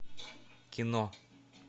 кино